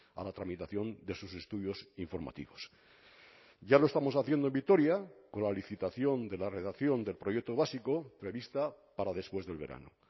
a la tramitación de sus estudios informativos ya lo estamos haciendo en vitoria con la licitación de la redacción del proyecto básico prevista para después del verano